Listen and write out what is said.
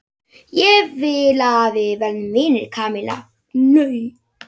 Ég vil að við verðum vinir, Kamilla.